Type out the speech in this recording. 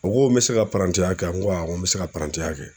O ko n be se ka parantiya kɛ a? N ko awɔ n be se ka parantiya kɛ.